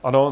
Ano.